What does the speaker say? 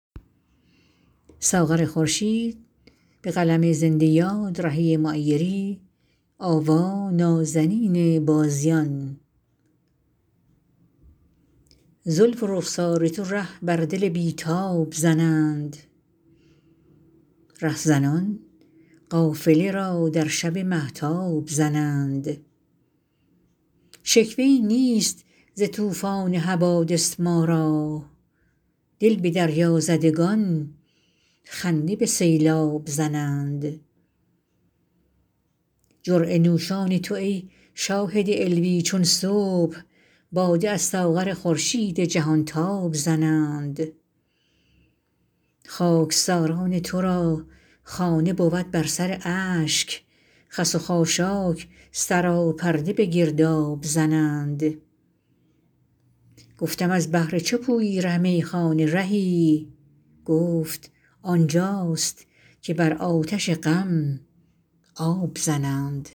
زلف و رخسار تو ره بر دل بی تاب زنند رهزنان قافله را در شب مهتاب زنند شکوه ای نیست ز طوفان حوادث ما را دل به دریازدگان خنده به سیلاب زنند جرعه نوشان تو ای شاهد علوی چون صبح باده از ساغر خورشید جهان تاب زنند خاکساران ترا خانه بود بر سر اشک خس و خاشاک سراپرده به گرداب زنند گفتم از بهر چه پویی ره میخانه رهی گفت آنجاست که بر آتش غم آب زنند